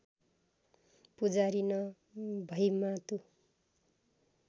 पुजारी न भैमातु